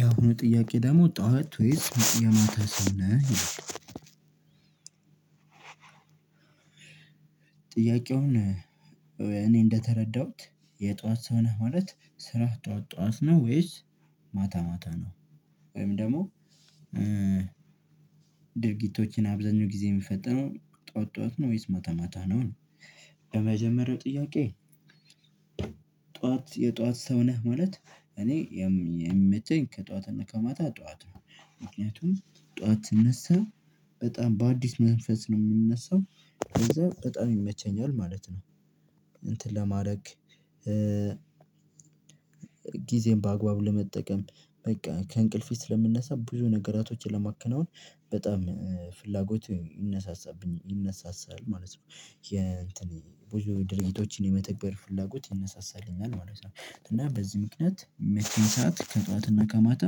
ያሁ ጥያቄ ደግሞ "ጠዋት ወይስ የማታ ሰው ነህ?" ይላል። ጥያቄውን እኔ እንደተረዳሁት የጧት ሰው ነህ ማለት ስራህ ጠዋት ጠዋት ነው ወይስ ማታ ማታ ነው፤ ወይም ደግሞ ድርጊቶችን አብዛኛው ጊዜ የሚፈጠነው ጠዋት ጠዋት ነው ወይስ ማታ ማታ ነው ነው። ለመጀመሪያው ጥያቄ "ጠዋት የጠዋት ሰው ነህ?" ማለት እኔ የም የሚመቸኝ ከጠዋትና ከማታ ጠዋት ነው። ምክንያቱም ጠዋት ስነሳ በጣም በአዲስ መንፈስ ነው የምነሳው ለዛ በጣም ይመቸኛል ማለት ነው እንትን ለማድረግ ጊዜዬን በአግባብ ለመጠቀም በቃ ከእንቅልፌ ስለምነሳ ብዙ ነገራቶችን ለማከናወን በጣም ፍላጎት ይነሳሳብኝ ይነሳሳል ማለት ነው። የእንት ብዙ ድርጊቶችን የመተግበር ፍላጎት ይነሳሳልኛል ማለት ነው፤ እና በዚህ ምክንያት ሚመቸኝ ሰዓት ከጠዋትና ከማታ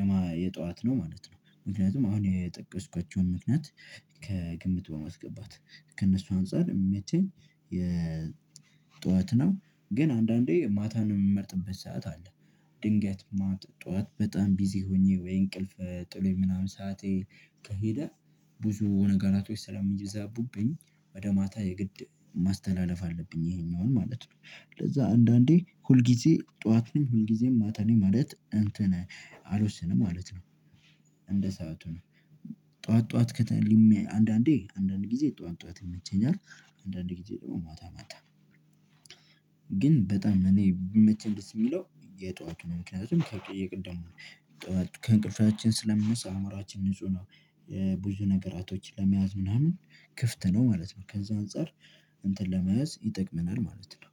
የማ የጠዋት ነው ማለት ነው። ምክንያቱም አሁን የጠቀስኳቸውን ምክንያት ከግምት በማስገባት ከእነሱ አንፃር የሚመቸኝ የጠዋት ነው፤ ግን አንዳንዴ ማታን የምመርጥበት ሰዓት አለ። ድንገት ማት ጠዋት በጣም ቢዚ ሆኜ ወይ እንቅልፍ ጥሎኝ ምናምን ሰዓቴ ከሄደ ብዙ ነገራቶች ሰላሚዛቡብኝ ወደ ማታ የግድ ማስተላለፍ አለብኝ ይሄኛውን ማለት ነው። ለዛ አንዳንዴ ሁል ጊዜ ጠዋት ነኝ ሁል ጊዜ ማታ ነኝ ማለት እንትን አልወስንም ማለት ነው እንደ ሰዓቱ ነው። ጠዋት ጠዋት ከተለሜ አንዳንዴ አንዳንድ ጊዜ ጠዋት ጠዋት ይመቸኛል፤ አንዳንድ ጊዜ ደግሞ ማታ ማታ። ግን በጣም እኔ ቢመቸኝ ደስ የሚለው የጧቱን ነው። ምክንያቱም ከቅ የቅድሙ ጠዋት ከእንቅልፋችን ስለምንነሳ አእምሮአችን ንጹህ ነው። ብዙ ነገራቶችን ለመያዝ ምናምን ክፍት ነው ማለት ነው ከዛ አንፃር እንትን ለመያዝ ይጠቅመናል ማለት ነው።